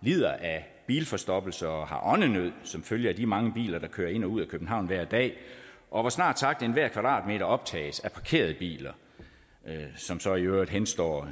lider af bilforstoppelse og har åndenød som følge af de mange biler der kører ind og ud af københavn hver dag og hvor snart sagt enhver kvadratmeter optages af parkerede biler som så i øvrigt henstår